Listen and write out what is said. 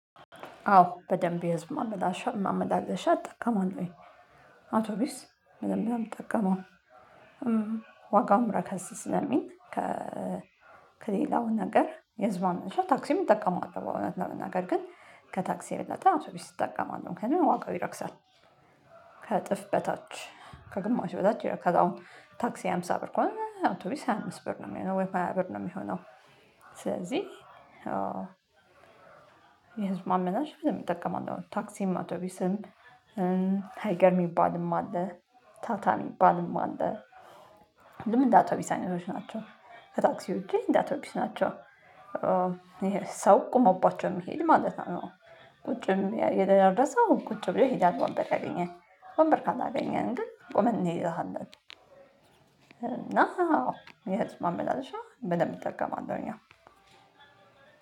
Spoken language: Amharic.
አዎ በደንብ የህዝብ ማመላለሻ ማመላለሻ እጠቀማለሁኝ። አውቶቢስ በደንብ ነው ምጠቀመው። ዋጋም ረከስ ስለሚል ከ ከሌላው ነገር የህዝብ ማመላለሻ ታክሲም እጠቀማለው እውነት ለመናገር ግን ከታክሲ የበለጠ አውቶቢስ እጠቀማለው ምክንያቱም ዋጋው ይረክሳል። ከእጥፍ በታች ከግማሽ በታች ከጋውም ታክሲ ሃምሳ ብር ከሆነ አውቶቢስ ሃያ አምስት ብር ነው ሚሆነው ወይም ሃያ ብር ነው ሚሆነው ስለዚህ ማመላለሻ በደንብ እጠቀማለው። ታክሲም አውቶቢስም፣ ሃይገር ሚባልም አለ፣ ታታ ሚባልም አለ። ሁሉም እንደ አውቶቢስ አይነቶች ናቸው። ከታክሲ ውጪ እንደ አውቶቢስ ናቸው። ይሄ ሰው ቆመባቸው ሚሄድ ማለት ነው። ቁጭም የደረሰው ቁጭ ብሎ ይሄዳል ወንበር ያገኘ። ወንበር ካላገኘን ግን ቆመን እንሄዳለን። እና የህዝብ ማመላለሻ በደንብ እጠቀማለሁኝ አዎ